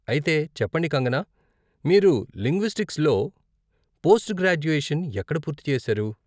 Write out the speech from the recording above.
అయితే, చెప్పండి కంగనా, మీరు లింగ్విస్టిక్స్లో పోస్ట్ గ్రాడ్యుయేషన్ ఎక్కడ పూర్తి చేశారు?